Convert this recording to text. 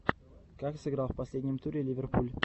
как сыграл в последнем туре ливерпуль